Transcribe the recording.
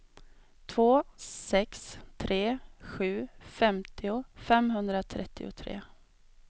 två sex tre sju femtio femhundratrettiotre